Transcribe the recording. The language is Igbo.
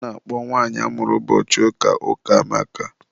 a na-akpọ nwanyi amụrụ ụbọchị ụka, Ukamaka.